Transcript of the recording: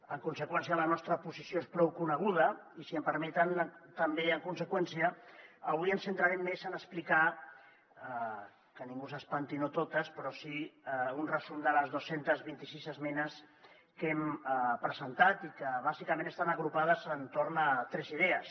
en conseqüència la nostra posició és prou coneguda i si em permeten també en conseqüència avui em centraré més en explicar que ningú s’espanti no totes però sí un resum de les dos cents i vint sis esmenes que hem presentat i que bàsicament estan agrupades entorn de tres idees